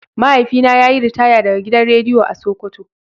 Mahaifina yayi ritaya daga gidan rediyo a sokoto.